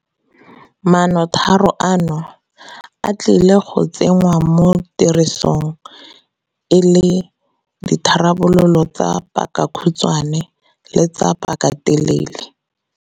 Maanotiro ano, a tlile go tsengwa mo tirisong e le ditharabololo tsa pakakhutshwe le tsa pakatelele.